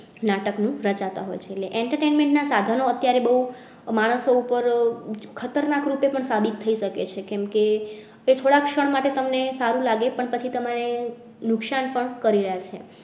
નાટક નું રચાતા હોય છે entertainment ના સાધનો અત્યારે બોવ માણસો ઉપર ખતરનાક રીતે પણ સાબિત થઈ શકે છે કેમ કે થોડાક ક્ષણ માટે તમ ને સારું લાગે, પણ પછી તમારે નુકસાન પણ કરી રહ્યા છે